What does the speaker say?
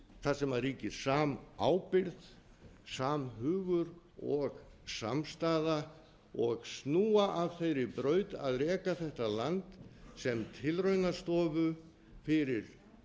þar sem ríkir samábyrgð samhugur og samstaða og snúa af þeirri braut að reka þetta land sem tilraunastofu fyrir